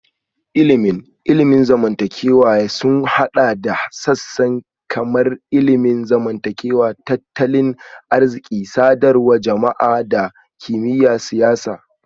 Ilimin ilimin zamantakewa sun haɗa da sassan kamar ilimin zamantakewa, tattalin arziki, sadarwar jama'a da kimiyyar siyasa